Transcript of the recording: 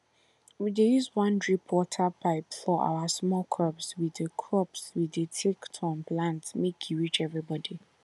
we dey use one drip water pipe for our small crops we dey crops we dey take turn plant make e reach everybody